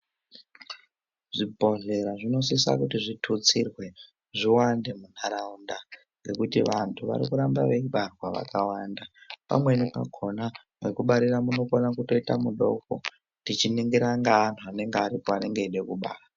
Zvibhodhlera zvinosisa kuti zvithutsirwe zviwande muntaraunda ,ngekuti vantu vari kuramba veibaarwa vakawanda. Pamweni pakhona, mwekubarira munokona kutoita mudoko, tichiningira ngeantu anonga aripo anenge eida kubara.